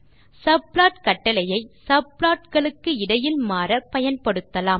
subplot கட்டளையை subplot களுக்கு இடையில் மாற பயன்படுத்தலாம்